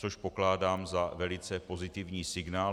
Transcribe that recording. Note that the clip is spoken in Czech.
Což pokládám za velice pozitivní signál.